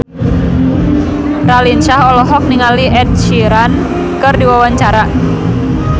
Raline Shah olohok ningali Ed Sheeran keur diwawancara